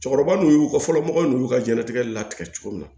Cɛkɔrɔba n'u y'u kɔ fɔlɔ mɔgɔw y'u ka jɛnnatigɛ latigɛ cogo min na